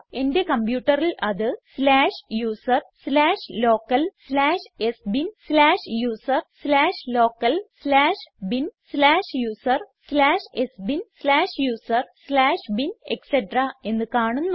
എന്റെ കംപ്യൂട്ടറിൽ അത് slash user slash local slash sbin slash user slash local slash bin slash user slash sbin slash user slash bin etc എന്ന് കാണുന്നു